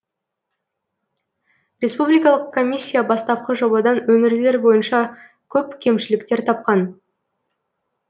республикалық комиссия бастапқы жобадан өңірлер бойынша көп кемшіліктер тапқан